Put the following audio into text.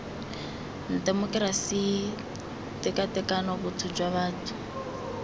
temokerasi tekatekano botho jwa batho